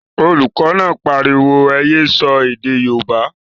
Olùkọ́ náà pariwo, ẹ yé sọ èdè yóòbá!